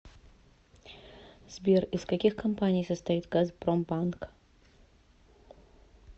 сбер из каких компаний состоит газпромбанк